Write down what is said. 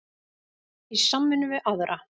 Í samvinnu við aðra